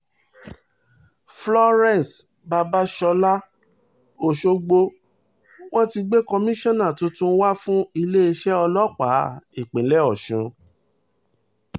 florence babasola ọ̀ṣọ́gbó wọ́n ti gbé kọ́mọnsàn tuntun wá fún iléeṣẹ́ ọlọ́pàá ìpínlẹ̀ ọ̀sùn